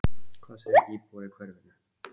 Hvað segja íbúar í hverfinu?